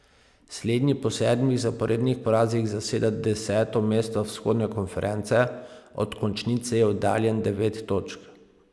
Slednji po sedmih zaporednih porazih zaseda deseto mesto vzhodne konference, od končnice je oddaljen devet točk.